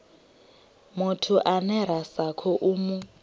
muthu ane ra sa khou